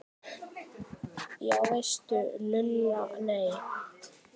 Já veistu Lulla, nei